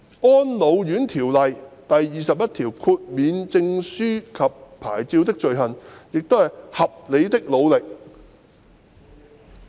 《安老院條例》第21條的修訂中文文本是"合理的努力"。